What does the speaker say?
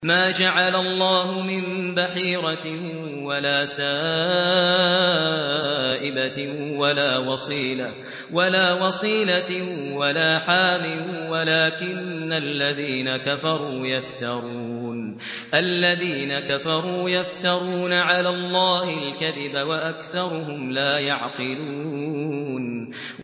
مَا جَعَلَ اللَّهُ مِن بَحِيرَةٍ وَلَا سَائِبَةٍ وَلَا وَصِيلَةٍ وَلَا حَامٍ ۙ وَلَٰكِنَّ الَّذِينَ كَفَرُوا يَفْتَرُونَ عَلَى اللَّهِ الْكَذِبَ ۖ وَأَكْثَرُهُمْ لَا يَعْقِلُونَ